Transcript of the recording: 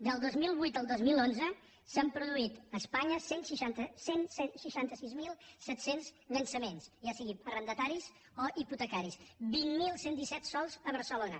del dos mil vuit al dos mil onze s’han produït a espanya cent i seixanta sis mil set cents llançaments ja siguin arrendataris o hipotecaris vint mil cent i disset sols a barcelona